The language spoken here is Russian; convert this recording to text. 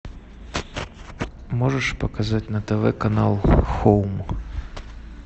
можешь показать на тв канал хоум